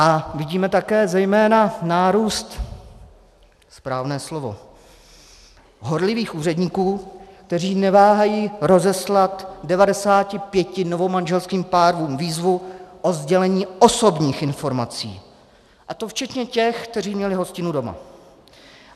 A vidíme také zejména nárůst - správné slovo - horlivých úředníků, kteří neváhají rozeslat 95 novomanželským párům výzvu o sdělení osobních informací, a to včetně těch, kteří měli hostinu doma.